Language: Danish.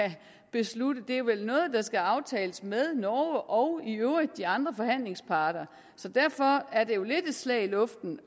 beslutte det er vel noget der skal aftales med norge og i øvrigt de andre forhandlingsparter så derfor er det jo lidt et slag i luften